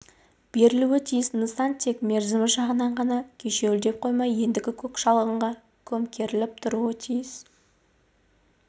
берілуі тиіс нысан тек мерзімі жағынан ғана кешеуілдеп қоймай ендігі көк шалғынға көмкеріліп тұруы тиіс